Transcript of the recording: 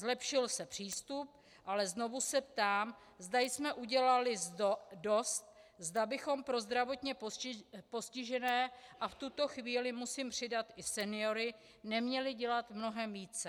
Zlepšil se přístup, ale znovu se ptám, zda jsme udělali dost, zda bychom pro zdravotně postižené, a v tuto chvíli musím přidat i seniory, neměli dělat mnohem více.